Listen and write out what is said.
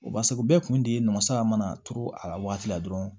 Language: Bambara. O b'a sɔrɔ u bɛɛ kun diman saga mana turu a la wagati la dɔrɔn